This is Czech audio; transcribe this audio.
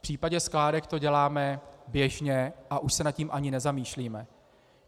V případě skládek to děláme běžně a už se nad tím ani nezamýšlíme.